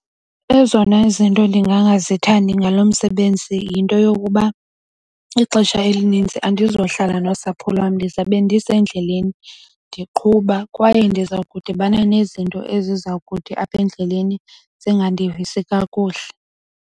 Ezona izinto ndingangazithandi ngalo msebenzi yinto yokuba ixesha elinintsi andizohlala nosapho lwam ndizawube ndisendleleni, ndiqhuba kwaye ndiza kudibana nezinto eziza kuthi apha endleleni zingandivisi kakuhle.